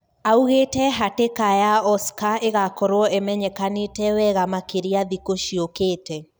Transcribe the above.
Augite hatika ya Oscar igakorwo imenyekanite wega makiria thikũ ciokite.